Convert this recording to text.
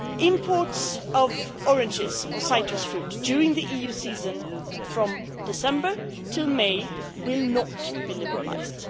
Imports of oranges or citrus fruit during the EU season from December to May will not be liberalised.